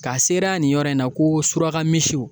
K'a seriya nin yɔrɔ in na ko surakamisiw